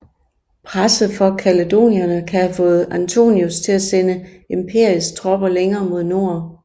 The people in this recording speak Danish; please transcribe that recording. Presset fra kaledonierne kan have fået Antoninus til at sende imperiets tropper længere mod nord